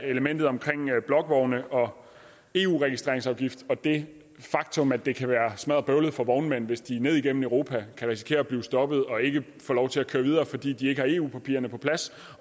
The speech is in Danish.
elementet om blokvogne og eu registreringsafgift og det faktum at det kan være smadderbøvlet for vognmænd hvis de ned igennem europa risikerer at blive stoppet og ikke får lov til at køre videre fordi de ikke har eu papirerne på plads